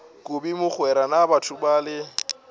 kobi mogwera na batho bale